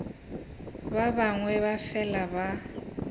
ba bangwe ba fela ba